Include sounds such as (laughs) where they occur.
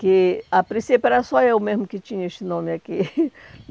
Que a princípio era só eu mesmo que tinha esse nome aqui. (laughs)